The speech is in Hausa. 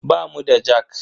Bamu da jak.